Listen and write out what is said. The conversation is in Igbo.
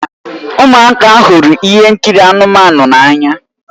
Ụmụaka hụrụ ihe nkiri anụmanụ n'anya